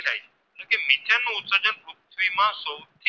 એ માં સો